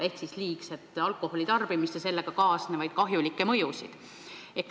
See probleem on liigne alkoholitarbimine ja sellega kaasnevad kahjulikud mõjud.